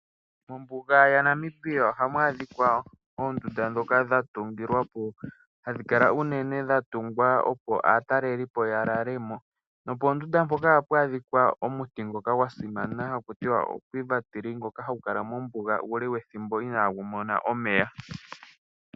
Mombuga ya Namibia ohamu adhikwa oondunda dhoka dha tungilwa po. Hadhi kala unene dha tungwa opo aatalelipo ya lale mo. Nopoondunda mpoka ohapu adhikwa omuti ngoka gwa simana haku tiwa o-Quiver ngoka hagu kala mombuga uule wethimbo inagu mona omeya.